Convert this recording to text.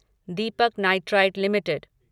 Deepak nitrite limited